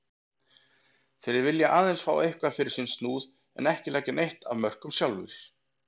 Þeir vilja aðeins fá eitthvað fyrir sinn snúð en ekki leggja neitt af mörkum sjálfir.